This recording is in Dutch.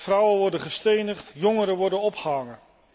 Vrouwen worden gestenigd, jongeren worden opgehangen.